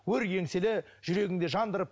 өр еңселі жүрегіңде жандырып